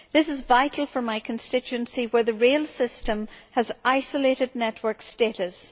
This is vital for my constituency where the rail system has isolated network status.